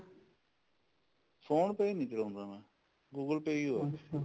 phone pay ਨੀ ਚਲਾਉਂਦਾ ਮੈਂ google pay ਹੀ ਐ